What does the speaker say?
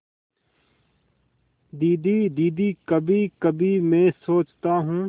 दीदी दीदी कभीकभी मैं सोचता हूँ